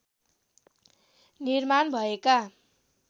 निर्माण भएका